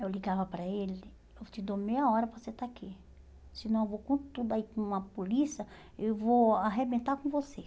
Eu ligava para ele, eu te dou meia hora para você estar aqui, senão eu vou com tudo aí com a polícia, e vou arrebentar com você.